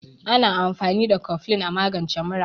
Ana amfani da koflin a magance mura.